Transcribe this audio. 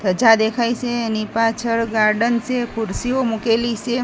ધજા દેખાય સે એની પાછળ ગાર્ડન સે ખુરસીઓ મૂકેલી સે.